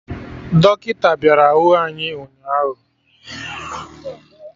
Dọkịta bịara hụ anyị ụnyaahụ